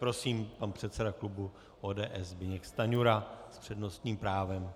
Prosím, pan předseda klubu ODS Zbyněk Stanjura s přednostním právem.